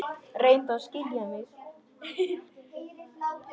Reyndu að skilja mig.